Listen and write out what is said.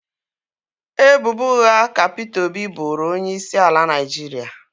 Ebubo ụgha ka Peter Obi boro onye isi ala Naijiria